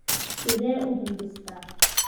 Sidee u hindhistaa?